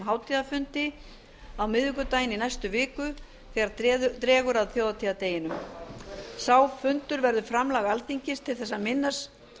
hátíðarfundi á miðvikudaginn í næstu viku þegar dregur að þjóðhátíðardeginum sá fundur verður framlag alþingis til þess að minnast